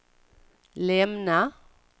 lämna